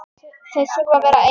Þau þurfi að vera ein.